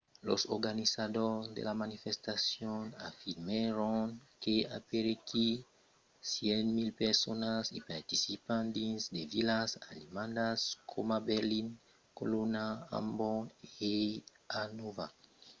los organizadors de la manifestacion afirmèron que aperaquí 100.000 personas i participèron dins de vilas alemandas coma berlin colonha amborg e hannover